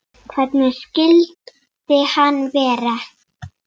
Hvernig skyldi hann vera?